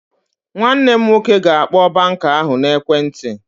Nwanne m nwoke ga-akpọ banka ahụ n'ekwentị